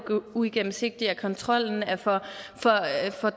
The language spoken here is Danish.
uigennemsigtigt at kontrollen er for